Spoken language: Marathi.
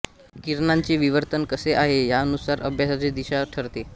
किरणांचे विवर्तन कसे आहे यानुसार अभ्यासाची दिशा ठरते